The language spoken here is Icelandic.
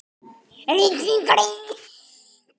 RITRÝND GREIN